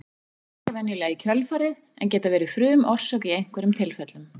Þær fylgja venjulega í kjölfarið en geta verið frumorsök í einhverjum tilfellum.